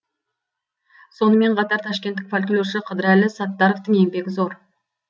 сонымен қатар ташкенттік фольклоршы қыдырәлі саттаровтың еңбегі зор